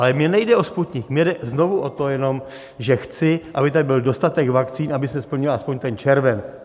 Ale mně nejde o Sputnik, mně jde znovu o to jenom, že chci, aby tady byl dostatek vakcín, aby se splnil aspoň ten červen.